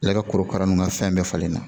Ale ka korokara nun ka fɛn bɛɛ falen na